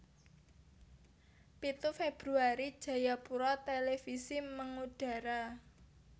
Pitu Februari Jayapura Televisi mangudara